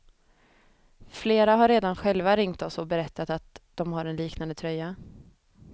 Flera har redan själva ringt oss och berättat att de har en liknande tröja.